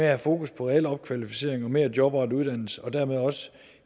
have fokus på al opkvalificering og mere jobrettet uddannelse og dermed også